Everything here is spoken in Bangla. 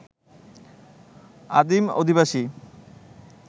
আদিম অধিবাসী